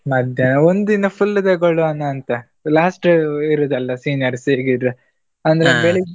ಮಧ್ಯಾಹ್ನ ಒಂದಿನ full ತಗೊಳುವನ ಅಂತಾ? last ಇರುದಲ್ಲ seniors .